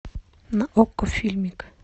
на окко фильмик